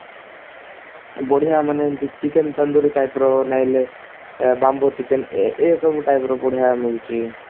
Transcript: ବଢିଆ ମାନେ ଏମତି chicken ତନ୍ଦୁରୀ type ର ନହେଲେ bamboo chicken ଏ ଏସବୁ type ର ବଢିଆ ମିଳୁଛି